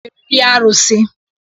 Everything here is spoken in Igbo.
Unu ga-eferiri arụsị.